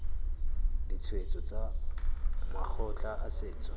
ditshwetso tsa makgotla a setso